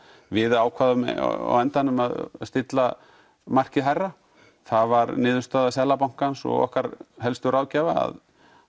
við ákváðum á endanum að stilla markið hærra það var niðurstaða Seðlabankansog okkar helstu ráðgjafa að